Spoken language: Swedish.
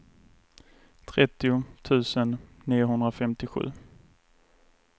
trettio tusen niohundrafemtiosju